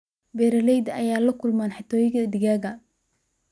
Beeralayda ayaa la kulma xatooyo digaag.